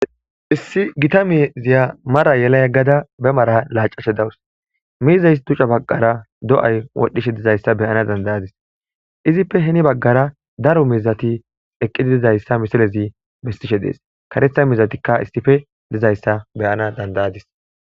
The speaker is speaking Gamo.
Issi gita miiziya mara yela yegada be mara lacashe de'awus miizaysi dica bagara do'ay wodhishe de'izaysa be'ana dandayadis izape heni bagara daro miizati eqidi dizaysa ha misilezi besishe des karetha miizatika issipe dizaysa be'anas dandayadis